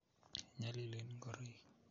nyalilen ngoroik